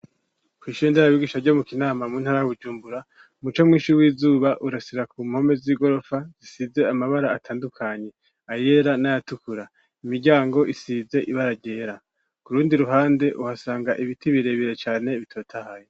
Kw'ishire nderabigisha ryo mu kinama mu ntara Bujumbura umuco mwishi w'izuba urasira ku mpome z'igorofa zisize amabara atandukanye ayera n'ayatukura imiryango isize ibaragera kurundi ruhande uhasanga ibiti birebere cane bitotahaye.